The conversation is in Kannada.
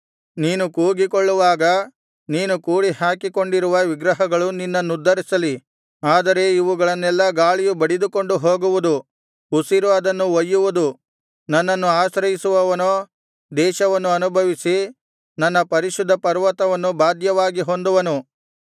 ನೀನು ಕೂಗಿಕೊಳ್ಳುವಾಗ ನೀನು ಕೂಡಿಹಾಕಿಕೊಂಡಿರುವ ವಿಗ್ರಹಗಳು ನಿನ್ನನ್ನುದ್ಧರಿಸಲಿ ಆದರೆ ಇವುಗಳನ್ನೆಲ್ಲಾ ಗಾಳಿಯು ಬಡಿದುಕೊಂಡು ಹೋಗುವುದು ಉಸಿರು ಅದನ್ನು ಒಯ್ಯುವುದು ನನ್ನನ್ನು ಆಶ್ರಯಿಸುವವನೋ ದೇಶವನ್ನು ಅನುಭವಿಸಿ ನನ್ನ ಪರಿಶುದ್ಧ ಪರ್ವತವನ್ನು ಬಾಧ್ಯವಾಗಿ ಹೊಂದುವನು